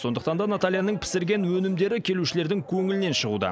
сондықтан да натальяның пісірген өнімдері келушілердің көңілінен шығуда